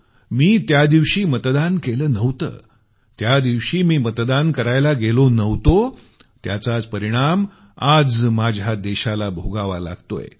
मी त्या दिवशी मतदान केलं नव्हतं त्या दिवशी मी मतदान करायला गेलो नव्हतो त्याचाच परिणाम आज माझ्या देशाला भोगावा लागतोय